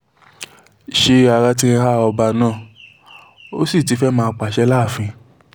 ṣé ara ti ń há ọba náà ó sì ti fẹ́ẹ́ máa pàṣẹ láàfin